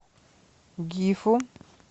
гифу